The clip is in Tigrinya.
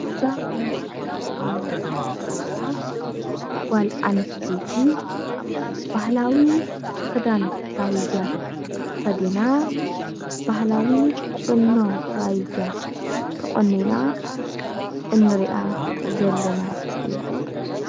እዛ ኣብ ምስሊ እንሪኣ ዘለና ጓል ኣነስተይቲ ባህላዊ ክዳን ራያ ተከዲና ባህለዊ ቁኖ ራያ ተቆኒና እንሪኣ ዘለና እያ፡፡